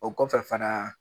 O kɔfɛ fana